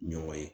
Ɲɔgɔn ye